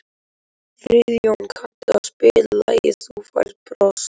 Friðjóna, kanntu að spila lagið „Þú Færð Bros“?